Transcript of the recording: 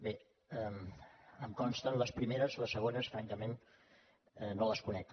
bé em consten les primeres les segones francament no les conec